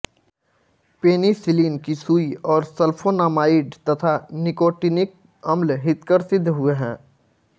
penicillin की सुई और सल्फोनामाइड तथा निकोटिनिक अम्ल हितकर सिद्ध हुए हैं